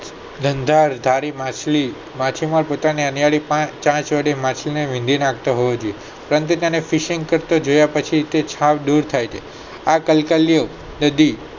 ગાંધાર કાલી માછલી માછીમાર પોતાની માછલી ને વીંધ નાખતો હોવો જોઈએ પણ તે પોતાને તીક્ષણ કરતો જોયા પછી તે આના જેવો દેખાય છે આ કલકલિયો બધી